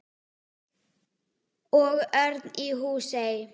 Og Örn í Húsey.